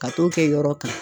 Ka t'o kɛ yɔrɔ kan.